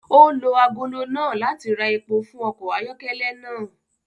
O lo agolo náà láti rá èpo fún ọkọ ayọkẹlẹ náà